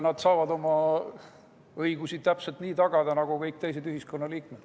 Nad saavad oma õigusi täpselt nii tagada nagu kõik teised ühiskonnaliikmed.